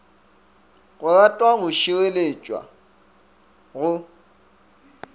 go ratwa go šireletšwa go